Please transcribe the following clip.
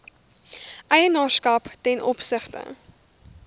eienaarskap ten opsigte